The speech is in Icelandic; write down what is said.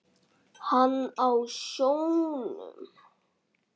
Hann á sjónum, hún heima.